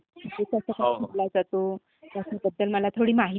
तो कसा खेळला जातो ह्याबद्द्ल मला जरा माहिती दे बरं